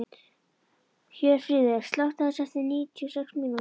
Hjörfríður, slökktu á þessu eftir níutíu og sex mínútur.